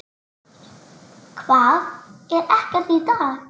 Hvað, er ekkert í dag?